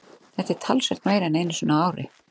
Þetta er talsvert meira en einu sinni á ári.